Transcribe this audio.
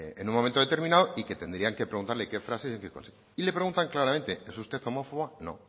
en un momento determinado y que tendrían que preguntarle qué frases y en qué contexto y le preguntan claramente es usted homófoba no